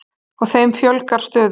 Og þeim fjölgar stöðugt.